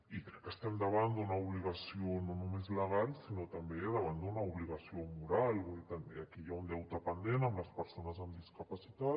i crec que estem davant d’una obligació no només legal sinó també davant d’una obligació moral vull dir aquí hi ha un deute pendent amb les persones amb discapacitat